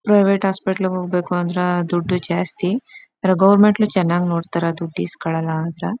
Private hospital ಹೋಗ್ಬೇಕ್ ಅಂದ್ರ ದುಡ್ಡು ಜಾಸ್ತಿ ಗೌರ್ಮೆಂಟ್ ಅಲ್ಲೂ ಚನ್ನಾಗ್ ನೋಡ್ತಾರಾ ದುಡ್ದು ಈಸ್ಕೊಳಲ್ಲ ಆದ್ರ .